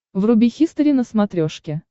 вруби хистори на смотрешке